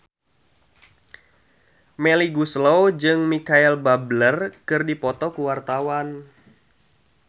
Melly Goeslaw jeung Micheal Bubble keur dipoto ku wartawan